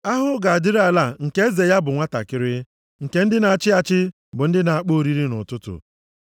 Ahụhụ ga-adịrị ala nke eze ya bụ nwantakịrị, nke ndị na-achị achị bụ ndị na-akpọ oriri nʼụtụtụ.